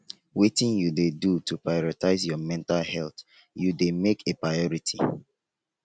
wetin you dey do to prioritize your mental health you dey make a priority?